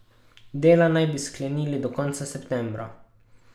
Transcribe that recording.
Dela naj bi sklenili do konca septembra.